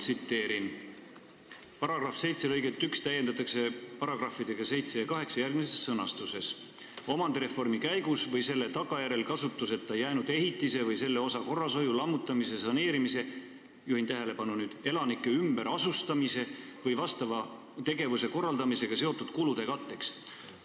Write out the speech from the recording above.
Tsiteerin: "paragrahvi 7 lõiget 11 täiendatakse punktidega 7 ja 8 järgmises sõnastuses: "7) omandireformi käigus või selle tagajärjel kasutuseta jäänud ehitise või selle osa korrashoiu, lammutamise, saneerimise , elanike ümberasustamise või vastava tegevuse korraldamisega seotud kulude katteks;".